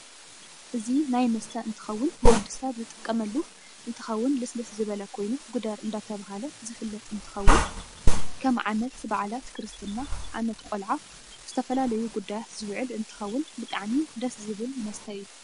እዚ ናይ መስተ እንትከውን ንወድሰብ ዝጥቀመሉ እንትከውን ልስልስ ዝበለ ኮይኑ ጉደር እደተበህለ ዝፍለጥ እ ንትከውን ክም ዓመት በዓላት ፣ክርስትና፣ ዓመት ቆላዓ ንዝተፈላለዩ ጉዳያት ዝውዕል እንትከውን ብጣዓሚ ደስ ዝብል መስተ እዩ።